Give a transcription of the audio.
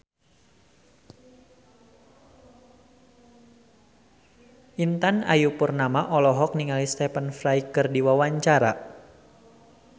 Intan Ayu Purnama olohok ningali Stephen Fry keur diwawancara